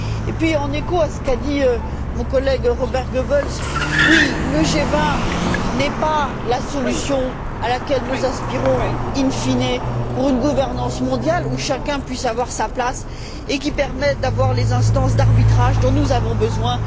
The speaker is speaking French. Puis, en écho à ce qu'a dit mon collègue, Robert Goebbels, oui, le G20 n'est pas la solution à laquelle nous aspirons in fine pour une gouvernance mondiale, où chacun peut avoir sa place et qui permet d'avoir les instances d'arbitrage dont nous avons besoin.